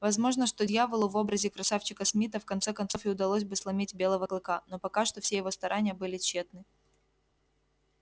возможно что дьяволу в образе красавчика смита в конце концов и удалось бы сломить белого клыка но пока что все его старания были тщетны